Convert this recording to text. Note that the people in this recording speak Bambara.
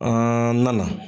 A na na